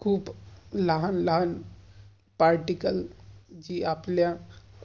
खूप लहान लहान particle जे आपल्या